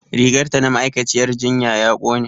Rigar ta na ma'aikaciyyar jinya ya ƙone